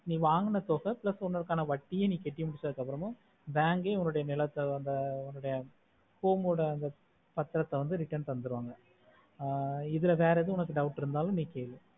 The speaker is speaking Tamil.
நீ வாங்குன தொகை plus உனக்கான வட்டியோம் கட்டி முடிச்சதுக்கு அப்ரோமோம் bank ளையும் உன்னோட நிலத்த ஆஹ் பத்திராத return தன்துருவங்க ஆஹ் இதுல வேற ஏதும் உனக்கு doubt இருந்தாலும் நீ கேளு